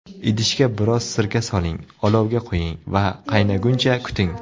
Idishga biroz sirka soling, olovga qo‘ying va qaynaguncha kuting.